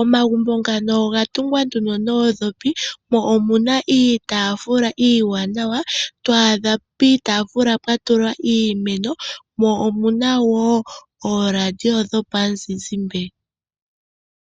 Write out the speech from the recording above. .omagumbo ngano oga tungwa noondhopi mo omuna iitaafula iiwanawa to adha piitafula pwatulwa iimeno mo omuna woo ooRadio dho muzizimba.